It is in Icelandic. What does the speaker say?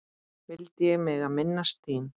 vildi ég mega minnast þín.